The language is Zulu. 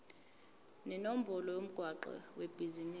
nenombolo yomgwaqo webhizinisi